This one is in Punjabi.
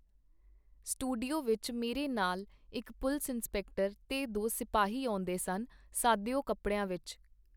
ਸਟੂਡੀਓ ਵਿਚ ਮੇਰੇ ਨਾਲ ਇਕ ਪੁਲਸ-ਇੰਸਪੈਕਟਰ ਤੇ ਦੋ ਸਿਪਾਹੀ ਆਉਂਦੇਸਨ - ਸਾਦੇ ਕਪੜਿਆਂ ਵਿਚ.